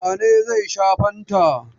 Wane ne zai sha fantan?